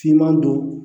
Finman don